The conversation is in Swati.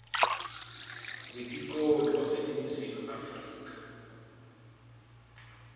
wetikolo waseningizimu afrika